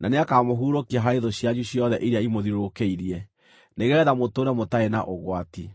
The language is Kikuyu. na nĩakamũhurũkia harĩ thũ cianyu ciothe iria imũthiũrũrũkĩirie, nĩgeetha mũtũũre mũtarĩ na ũgwati.